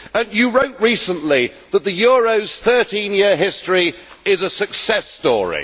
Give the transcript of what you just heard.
You wrote recently that the euro's 13 year history is a success story.